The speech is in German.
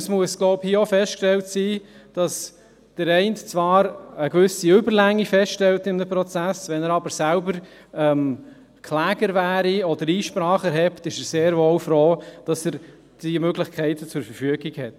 Es muss, glaube ich, hier auch festgestellt werden, dass der Eine zwar in einem Prozess eine gewisse Überlänge feststellt, wenn er aber selbst Kläger wäre oder Einsprache erhebt, ist er sehr wohl froh, dass er diese Möglichkeiten zur Verfügung hat.